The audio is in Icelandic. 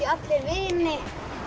allir vini